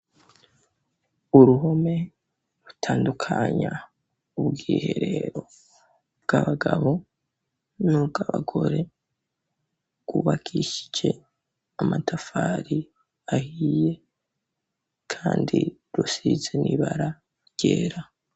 Uruhome, rutandukanya ubwiherero bw'abagabo, n'ubw'abagore; rwubakishije amatafari ahiye, kandi rusize n'ibara ryera.